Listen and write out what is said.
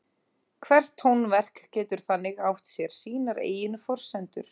Hvert tónverk getur þannig átt sér sínar eigin forsendur.